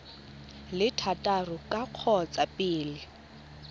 le thataro ka kgotsa pele